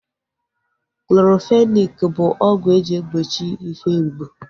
Clorofenaki bụ ọgwụ eji egbochi ihe mgbu